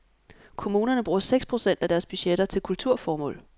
Kommunerne bruger seks procent af deres budgetter til kulturformål.